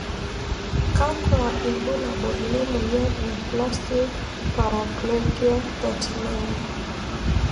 Kakwa ibulabul lemoyian e spastic paraplegia 39?